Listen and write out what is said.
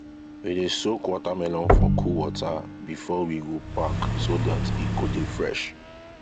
we dey soak watermelon for cool water before we go pack so dat e go dey fresh